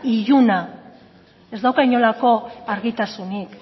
iluna ez dauka inolako argitasunik